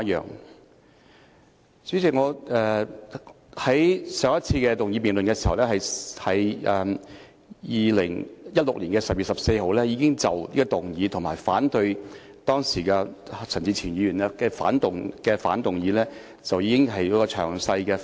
代理主席，我在上一次動議辯論議案時，即2016年12月14日，已經就這項議案，以及當時陳志全議員提出的相反議案作詳細發言。